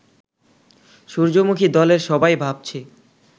সূর্যমুখী-দলের সবাই ভাবছে